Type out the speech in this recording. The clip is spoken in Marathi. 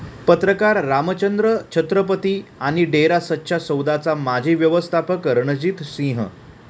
पत्रकार रामचंद्र छत्रपती आणि डेरा सच्चा सौदाचा माजी व्यवस्थापक रणजीत सिंह